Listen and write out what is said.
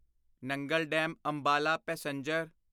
Nangal dam Ambala passenger